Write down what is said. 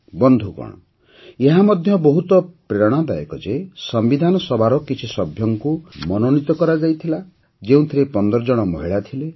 ବନ୍ଧୁଗଣ ଏହା ମଧ୍ୟ ବହୁତ ପ୍ରେରଣାଦାୟକ ଯେ ସମ୍ବିଧାନ ସଭାର କିଛି ସଭ୍ୟଙ୍କୁ ମନୋନୀତ କରାଯାଇଥିଲା ଯେଉଁଥିରେ ୧୫ ଜଣ ମହିଳା ଥଲେ